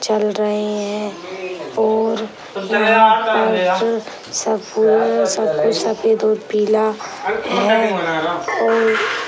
चल रहे हैं और वहाँ पर सब कुछ सफ़ेद और पीला है और--